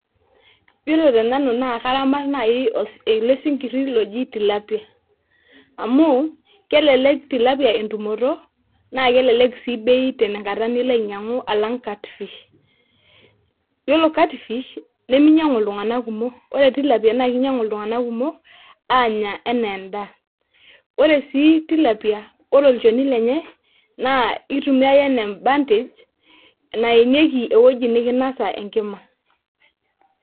Ore tenanu naa karama naaji ele sinkiri oji tilapia ,amu kelelek tilapia entumoto naa keleleku sii bei tenkata niloainyiangu alang cut fish yiolo cut fish nemeinyiangu iltunganak kumok ore tilapia naa keinyiang'u iltunganak kumo aanya enaa endaa ore sii tilapia ore olchoni lenye naa itumie ake enaa embantage naenieki ewueji nikinasa enkina.